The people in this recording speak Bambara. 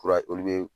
Kura olu be